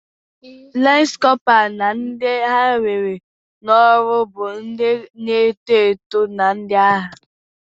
Lansi Kopra na ndị a na-ewe n'ọrụ bụ ndị na-eto eto na ndị agha.